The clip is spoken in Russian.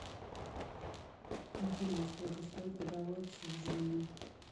афина сколько стоит годовое обслуживание